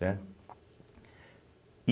Certo? e